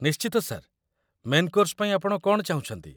ନିଶ୍ଚିତ, sir. Main course ପାଇଁ ଆପଣ କ'ଣ ଚାହୁଁଛନ୍ତି?